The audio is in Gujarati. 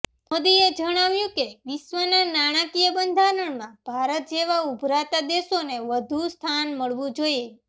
મોદીએ જણાવ્યું કે વિશ્વના નાણાકીય બંધારણમાં ભારત જેવા ઊભરતા દેશોને વધુ સ્થાન મળવું જોઈએ